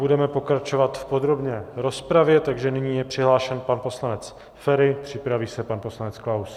Budeme pokračovat v podrobné rozpravě, takže nyní je přihlášen pan poslanec Feri, připraví se pan poslanec Klaus.